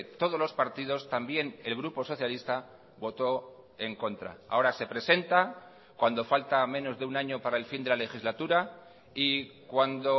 todos los partidos también el grupo socialista votó en contra ahora se presenta cuando falta menos de un año para el fin de la legislatura y cuando